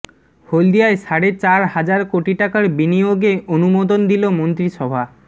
হলদিয়ায় সাড়ে চার হাজার কোটি টাকার বিনিয়োগে অনুমোদন দিল মন্ত্রিসভা